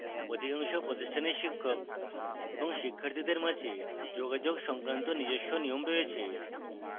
অধিকাংশ প্রতিষ্ঠানের শিক্ষক এবং শিক্ষার্থীদের মাঝে যোগাযোগ সংক্রান্ত নিজস্ব নিয়ম রয়েছে